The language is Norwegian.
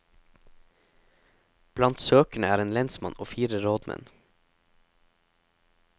Blant søkerne er en lensmann og fire rådmenn.